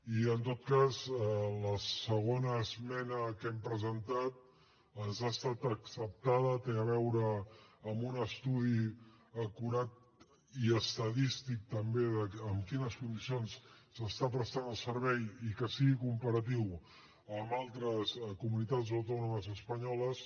i en tot cas la segona esmena que hem presentat ens ha estat acceptada té a veure amb un estudi acurat i estadístic també de en quines condicions s’està prestant el servei i que sigui comparatiu amb altres comunitats autònomes espanyoles